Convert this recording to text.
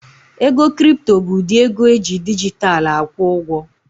Ego kripto bụ ụdị ego eji dijitalụ akwụ ụgwọ